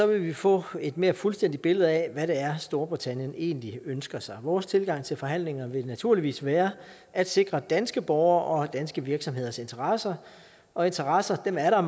vil vi få et mere fuldstændigt billede af hvad det er storbritannien egentlig ønsker sig vores tilgang til forhandlingerne vil naturligvis være at sikre danske borgeres og danske virksomheders interesser og interesser er der